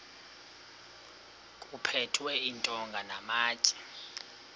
kuphethwe iintonga namatye